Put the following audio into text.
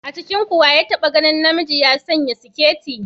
A cikinku wa ya taɓa ganin namiji ya sanya siketi?